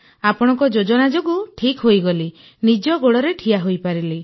ଆପଣଙ୍କ ଯୋଜନା ଯୋଗୁଁ ଠିକ୍ ହୋଇଗଲି ନିଜ ଗୋଡ଼ରେ ଠିଆ ହୋଇପାରିଲି